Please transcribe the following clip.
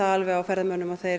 á ferðamönnum að þeir